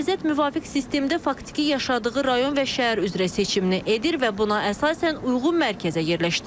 Namizəd müvafiq sistemdə faktiki yaşadığı rayon və şəhər üzrə seçimini edir və buna əsasən uyğun mərkəzə yerləşdirilir.